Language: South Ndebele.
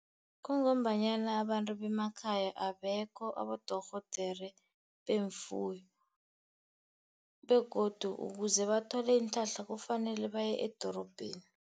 Kungombanyana abantu bemakhaya abekho abadorhodere neemfuyo, begodu ukuze bathole iinhlahla kufanele baye edorobheni.